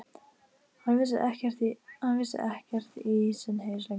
Hann vissi ekkert í sinn haus lengur.